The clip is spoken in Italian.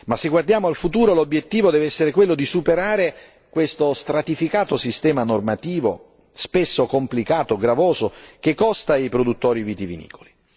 Se guardiamo al futuro, però, l'obiettivo deve essere quello di superare questo stratificato sistema normativo, spesso complicato e gravoso, che costa ai produttori vitivinicoli.